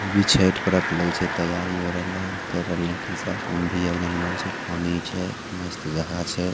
मस्त जगह छै